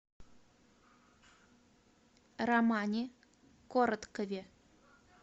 романе короткове